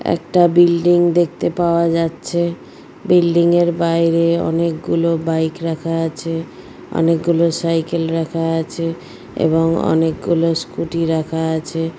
একটা বিল্ডিং দেখতে পাওয়া যাচ্ছে বিল্ডিংয় -এর বাইরে অনেকগুলো বাইক রাখা আছে অনেকগুলো সাইকেল রাখা আছে এবং অনেকগুলো স্কুটি রাখা আছে।